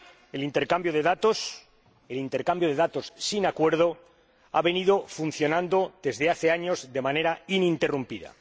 El intercambio de datos sin acuerdo ha venido funcionando desde hace años de manera ininterrumpida.